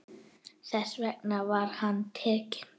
Þess vegna var hann tekinn.